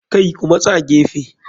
Kai Ku matsa gefe.